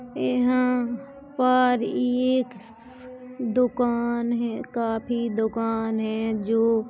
यहाँ पर एक दुकान है काफी दुकान हैंजो--